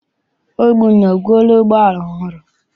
Obinna egoola ụgbọala ọhụrụ?